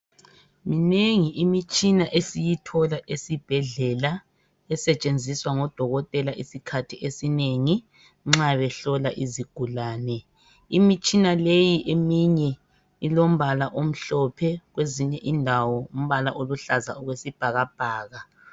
Minengi imitshina esiyithola esibhedlela esetshenziswa ngodokotela isikhathi esinengi nxa behlola izigulane. Imitshina leyi eminye ilombala omhlophe kwezinye indawo umbala oluhlaza okwesibhakabhaka.